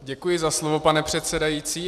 Děkuji za slovo, pane předsedající.